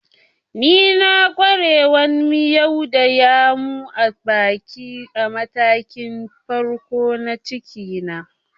N'na kwarewan amai da taran miyo a'baki a matakin farko na ciki na.